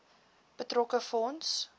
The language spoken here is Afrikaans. betrokke fonds